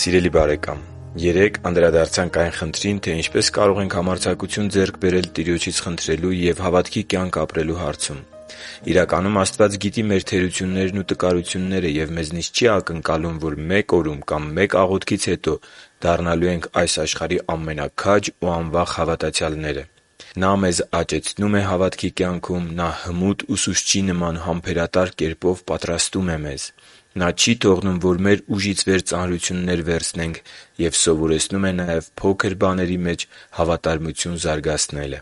Սիրելի՛ բարեկամ, երեկ անդրադարձանք այն խնդրին, թե ինչպես կարող ենք համարձակություն ձեռք բերել Տիրոջից խնդրելու և հավատքի կյանք ապրելու հարցում։ Իրականում, Աստված գիտի մեր թերություններն ու տկարությունները և մեզնից չի ակնկալում, որ մեկ օրում կամ մեկ աղոթքից հետո դառնալու ենք այս աշխարհի ամենաքաջ ու անվախ հավատացյալները։ Նա մեզ աճեցնում է հավատքի կյանքում։ Նա հմուտ ուսուցչի նման համբերատար կերպով պատրաստում է մեզ։ Նա չի թողնում, որ մեր ուժից վեր ծանրություններ վերցնենք։ Եվ սովորեցնում է նաև փոքր բաների մեջ հավատարմություն զարգացնելը։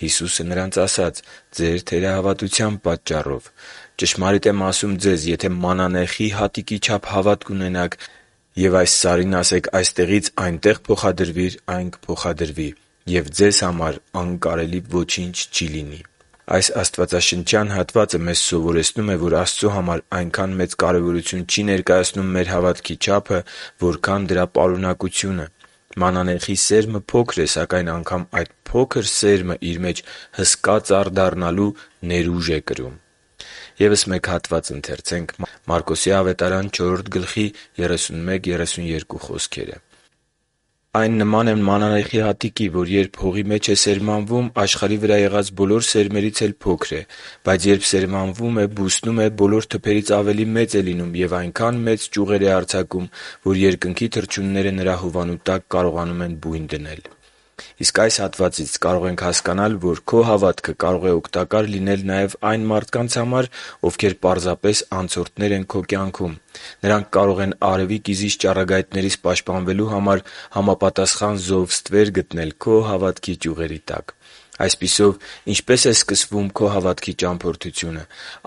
«Հիսուսը նրանց ասաց. «Ձեր թերահավատության պատճառով։ Ճշմարիտ եմ ասում ձեզ. եթե մանանեխի հատիկի չափ հավատ ունենաք և այս սարին ասեք՝ «Այստեղից այնտե՛ղ փոխադրվիր», այն կփոխադրվի։ Եվ ձեզ համար անկարելի ոչինչ չի լինի» (Մատթեոս 17․20)։ Այս աստվածաշնչյան հատվածը մեզ սովորեցնում է, որ Աստծո համար այնքան մեծ կարևորություն չի ներկայացնում մեր հավատքի չափը, որքան դրա պարունակությունը։ Մանանեխի սերմը փոքր է, սակայն անգամ այդքան փոքր սերմը իր մեջ հսկա ծառ դառնալու ներուժ է կրում։ «Այն նման է մանանեխի հատիկի, որ երբ հողի մեջ է սերմանվում, աշխարհի վրա եղած բոլոր սերմերից էլ փոքր է։ Բայց երբ սերմանվում է, բուսնում է, բոլոր թփերից ավելի մեծ է լինում և այնքան մեծ ճյուղեր է արձակում, որ երկնքի թռչունները նրա հովանու տակ կարողանում են բույն դնել» (Մարկոս 4․31-32)։ Իսկ այս հատվածից կարող ենք հասկանալ, որ քո հավատքը կարող է օգտակար լինել նաև այն մարդկանց, ովքեր պարզապես անցորդներ են քո կյանքում։ Նրանք կարող են արևի կիզիչ ճառագայթներից պաշտպանվելու համար համապատասխան զով ստվեր գտնել քո հավատքի կյանքի ճյուղերի տակ։ Այսպիսով, ինչպե՞ս է սկսվում քո հավատքի ճամփորդությունը։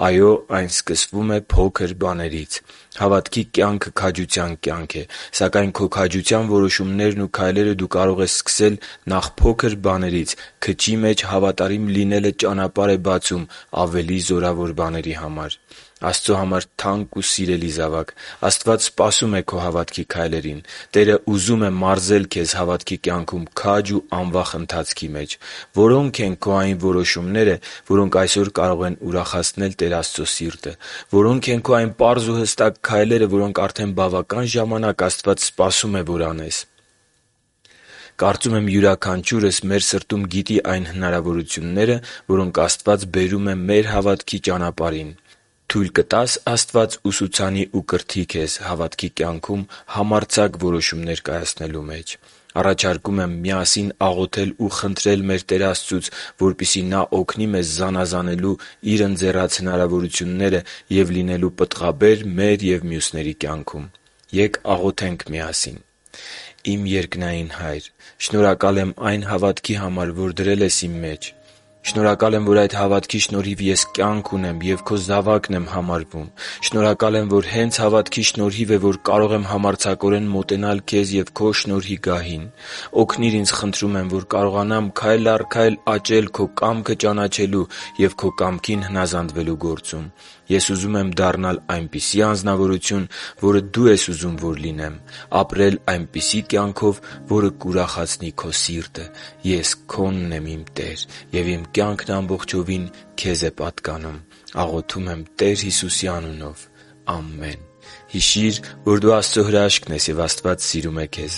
Այո՛, այն սկսվում է փոքր բաներից։ Հավատքի կյանքը քաջության կյանք է։ Սակայն քո քաջության որոշումներն ու քայլերը դու կարող ես սկսել նախ փոքր բաներից։ Քչի մեջ հավատարիմ լինելը ճանապարհ է բացում ավելի զորավոր բաների համար։ Աստծո համար թանկ ու սիրելի՛ զավակ, Աստված սպասում է քո հավատքի քայլերին։ Տերը ուզում է մարզել քեզ հավատքի կյանքում քաջ ու անվախ ընթացքի մեջ։ Որո՞նք են քո այն որոշումները, որոնք այսօր կարող են ուրախացնել Տեր Աստծո սիրտը։ Որո՞նք են քո այն պարզ ու հստակ քայլերը, որոնք արդեն բավական ժամանակ Աստված սպասում է, որ անես։ Կարծում եմ՝ յուրաքանչյուրս մեր սրտում գիտի այն հնարավորությունները, որոնք Աստված բերում է մեր հավատքի ճանապարհին։ Թույլ կտա՞ս Աստված ուսուցանի ու կրթի քեզ հավատքի կյանքում համարձակ որոշումներ կայացնելու մեջ․․․ Առաջարկում եմ միասին աղոթել ու խնդրել մեր Տեր Աստծուց, որպեսզի Նա օգնի մեզ զանազանելու Իր ընձեռած հնարավորությունները ու լինելու պտղաբեր մեր և մյուսների կյանքում։ Ե՛կ աղոթենք միասին․ «Իմ երկնային Հա՛յր, շնորհակալ եմ այն հավատքի համար, որ դրել ես մեր մեջ։ Շնորհակալ եմ, որ այդ հավատքի շնորհիվ ես կյանք ունեմ և Քո զավակն եմ համարվում։ Շնորհակալ եմ, որ հե՛նց հավատքի շնորհիվ է, որ կարող եմ համարձակորեն մոտենալ Քեզ և Քո շնորհի գահին։ Օգնի՛ր ինձ, խնդրում եմ, որ կարողանամ քայլ առ քայլ աճել Քո կամքը ճանաչելու և Քո կամքին հնազանդվելու գործում։ Ես ուզում եմ դառնալ այնպիսի անձնավորություն, որը Դու ես ուզում, որ լինեմ․․․, ապրել այնպիսի կյանքով, որը կուրախացնի Քո սիրտը։ Ես Քոնն եմ, իմ Տե՛ր, և իմ կյանքն ամբողջությամբ Քեզ է պատկանում։ Աղոթում եմ Տեր Հիսուսի անունով։ Ամե՛ն»։ Հիշի՛ր, որ դու Աստծո հրաշքն ես, և Աստված սիրում է քեզ։